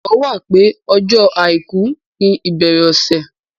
Ìgbàgbọ́ wà pé ọjọ́ àìkú ni ìbẹ̀rẹ̀ ọ̀sẹ̀.